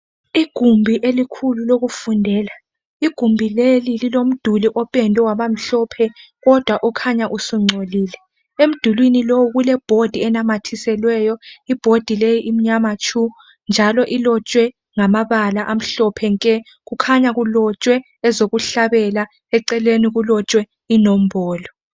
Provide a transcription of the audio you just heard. Igumbi elikhulu lokufundela igumbi leli lilomduli opendwe waba mhlophe kodwa ukhanya usungcolile emdulwini lowo kule board enamathiselweyo board leyi imnyama tshu njalo ilotshwe ngamabala amhlophe nke kukhanya kulotshwe ezokuhlabela eceleni kulotshwe inombolo.